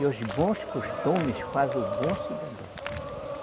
E os bons costumes fazem o bom cidadão.